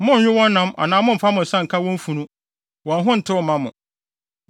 Monnnwe wɔn nam anaa mommfa mo nsa nka wɔn funu; wɔn ho ntew mma mo.